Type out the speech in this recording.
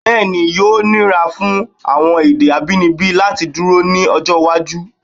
Bẹ́ẹ̀ ni, yóò níra fún àwọn èdè abínibí láti dúró ní ọjọ́ iwájú.